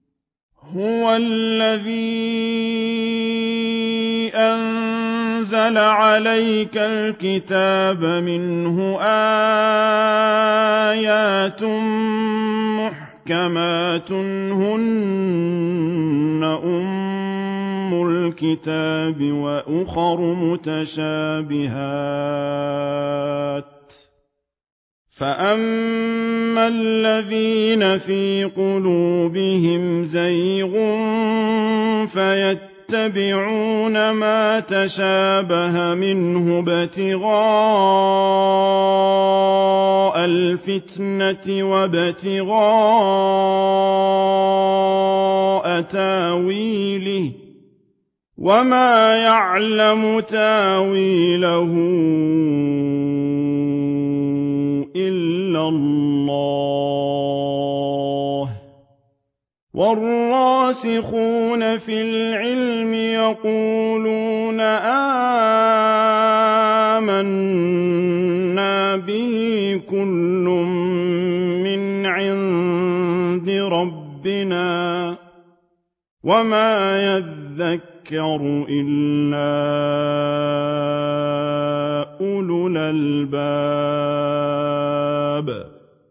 هُوَ الَّذِي أَنزَلَ عَلَيْكَ الْكِتَابَ مِنْهُ آيَاتٌ مُّحْكَمَاتٌ هُنَّ أُمُّ الْكِتَابِ وَأُخَرُ مُتَشَابِهَاتٌ ۖ فَأَمَّا الَّذِينَ فِي قُلُوبِهِمْ زَيْغٌ فَيَتَّبِعُونَ مَا تَشَابَهَ مِنْهُ ابْتِغَاءَ الْفِتْنَةِ وَابْتِغَاءَ تَأْوِيلِهِ ۗ وَمَا يَعْلَمُ تَأْوِيلَهُ إِلَّا اللَّهُ ۗ وَالرَّاسِخُونَ فِي الْعِلْمِ يَقُولُونَ آمَنَّا بِهِ كُلٌّ مِّنْ عِندِ رَبِّنَا ۗ وَمَا يَذَّكَّرُ إِلَّا أُولُو الْأَلْبَابِ